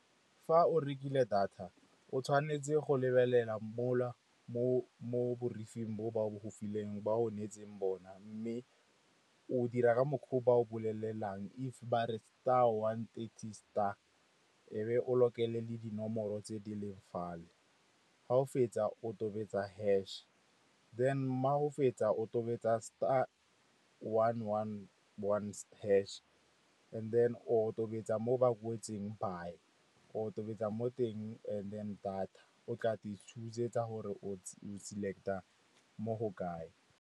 Fa o rekile data o tshwanetse go lebelela mo la mo ba onetseng bona mme o dira ka mokgwa o ba o bolelelang, if ba re star one thirty star a ebe o lokela le dinomoro tse di leng fa le. Ga o fetsa o tobetsa hash then ga o fetsa o tobetsa star one one one hash and then o tobetsa mo ba kwetseng buy, o tobetsa mo teng and then data o tla te choose-etsa gore o select-a mo go kae.